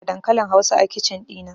Ina da dankalin hausa a kicin ɗina